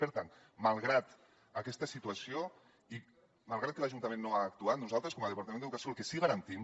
per tant malgrat aquesta situació i malgrat que l’ajuntament no ha actuat nosaltres com a departament d’educació el que sí que garantim